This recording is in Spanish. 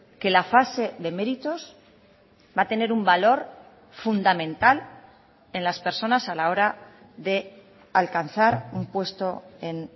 que la fase de méritos va a tener un valor fundamental en las personas a la hora de alcanzar un puesto en